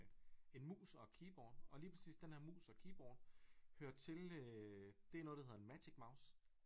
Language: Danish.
En mus og et keyboard og lige præcis den her mus og keyboard hører til øh det er noget der hedder en magic mouse